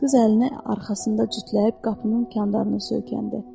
Qız əlini arxasında cütləyib qapının candarına söykəndi.